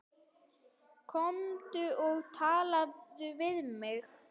Komdu og talaðu við mig